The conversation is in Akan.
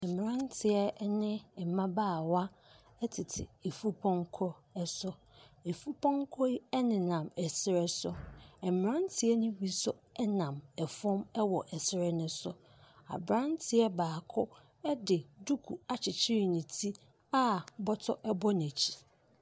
Mmeranteɛ ne mmabaawa tete efupɔnkɔ so. Efupɔnkɔ yi nenam serɛ so. Mmeranteɛ no bi nso nam fam wɔ serɛ no so. Aberanteɛ baako de duku akyekyere ne ti a bɔtɔ bɔ n'akyi.